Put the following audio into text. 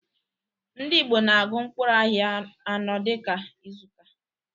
Ndị Igbo na agu mkpụrụ ahịa anọ dịka izuka